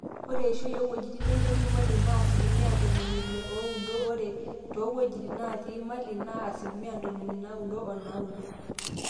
ore eishoi oowuejitin nemetii imali naa asilimia ntomoni ile oudo ore too wuejitin naatii imali naa asilimia ntomoni naaudo onaaudo